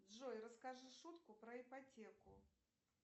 джой расскажи шутку про ипотеку